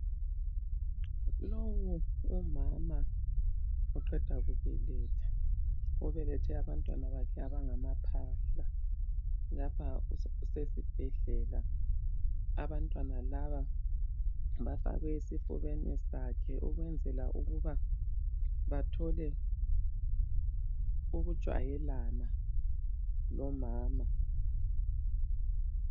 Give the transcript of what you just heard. Lowu umama uqeda kubeletha, ubelethe abantwana bakhe abangamaphahla, lapha usesibhedlela abantwana laba bafakwe esifubeni sakhe ukwenzela ukuba bathole ukujwayelana lomama.